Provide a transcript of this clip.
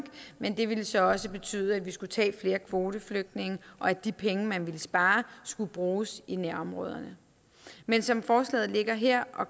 men det ville så også betyde at vi skulle tage flere kvoteflygtninge og at de penge man ville spare skulle bruges i nærområderne men som forslaget ligger her og